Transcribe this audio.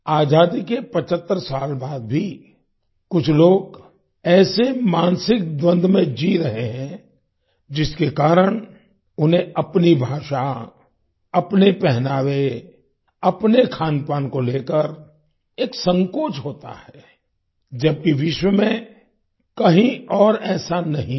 आजादी के 75 साल बाद भी कुछ लोग ऐसे मानसिक द्वन्द में जी रहे हैं जिसके कारण उन्हें अपनी भाषा अपने पहनावे अपने खानपान को लेकर एक संकोच होता है जबकि विश्व में कहीं और ऐसा नहीं है